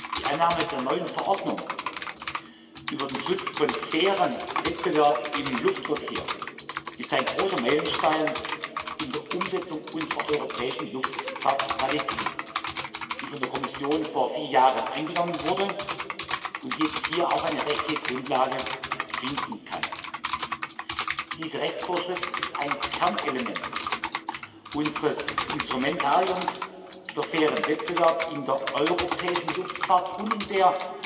Die Annahme der neuen Verordnung über den Schutz von fairem Wettbewerb im Luftverkehr ist ein großer Meilenstein bei der Umsetzung unserer europäischen Luftfahrtstrategie, die von der Kommission vor vier Jahren angenommen wurde und jetzt hier auch eine rechtliche Grundlage finden kann. Diese Rechtsvorschrift ist ein Kernelement unseres Instrumentariums für fairen Wettbewerb in der europäischen Luftfahrt und in der